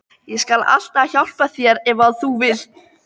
Ég skal alltaf hjálpa þér ef þú vilt.